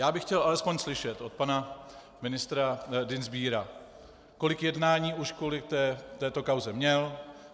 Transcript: Já bych chtěl alespoň slyšet od pana ministra Dienstbiera, kolik jednání už kvůli této kauze měl.